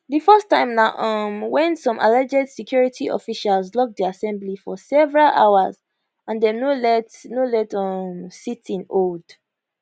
di first time na um wen some alleged security officials lock di assembly for several hours and dem no let no let um sitting hold